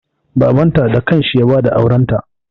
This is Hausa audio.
Babanta da kanshi ya ba da aurenta.